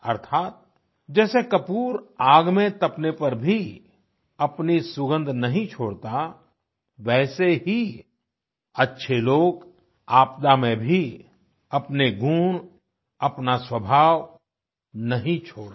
अर्थात जैसे कपूर आग में तपने पर भी अपनी सुगंध नहीं छोड़ता वैसे ही अच्छे लोग आपदा में भी अपने गुण अपना स्वभाव नहीं छोड़ते